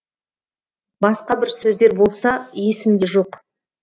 басқа бір сөздер болса есімде жоқ